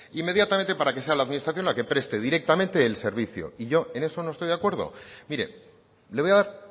inmediatamente para que sea la administración la que preste directamente el servicio y yo en eso no estoy de acuerdo mire le voy a dar